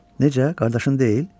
Necə, qardaşın deyil?